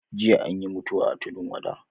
Jiya anyi mutuwa a tudun wada